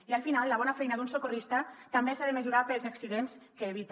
i al final la bona feina d’un socorrista també s’ha de mesurar pels accidents que evita